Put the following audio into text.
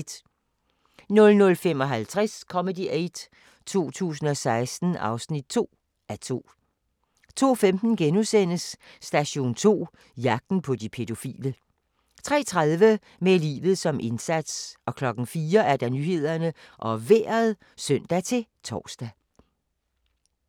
00:55: Comedy Aid 2016 (2:2) 02:15: Station 2: Jagten på de pædofile * 03:30: Med livet som indsats 04:00: Nyhederne og Vejret (søn-tor)